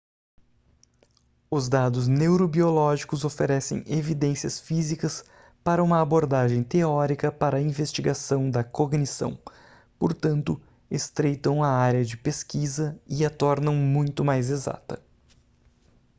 os dados neurobiológicos oferecem evidências físicas para uma abordagem teórica para a investigação da cognição portanto estreitam a área de pesquisa e a tornam muito mais exata